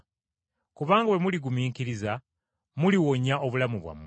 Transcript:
Kubanga bwe muligumiikiriza muliwonya obulamu bwammwe.”